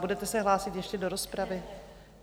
Budete se hlásit ještě do rozpravy?